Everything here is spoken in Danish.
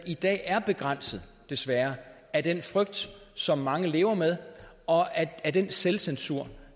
i dag er begrænset desværre af den frygt som mange lever med og af den selvcensur